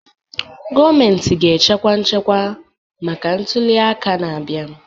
Gọọmentị ga-echekwa nchekwa maka ntuli aka na-abịa